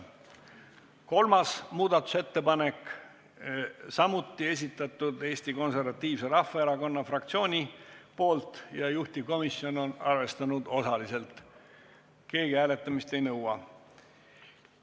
3. muudatusettepaneku on samuti esitanud Eesti Konservatiivse Rahvaerakonna fraktsioon, juhtivkomisjon on seda arvestanud osaliselt ja keegi hääletamist ei nõua.